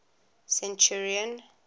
centurion